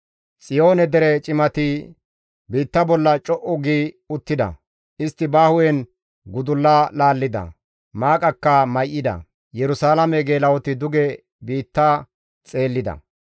Xiyoone dere cimati biitta bolla co7u gi uttida; istti ba hu7en gudulla laallida; maaqaka may7ida; Yerusalaame geela7oti duge biitta xeellida.